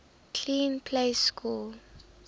clean plays score